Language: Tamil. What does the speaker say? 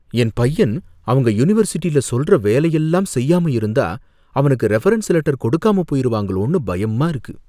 என் பையன் அவங்க யூனிவர்சிட்டில சொல்ற வேலையெல்லாம் செய்யாம இருந்தா அவனுக்கு ரெஃபரன்ஸ் லெட்டர் கொடுக்காம போயிருவாங்களோனு பயமா இருக்கு.